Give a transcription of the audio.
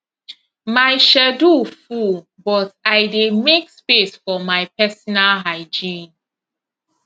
my schedule full but i dey make space for my personal hygiene